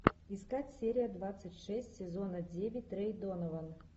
искать серия двадцать шесть сезона девять рэй донован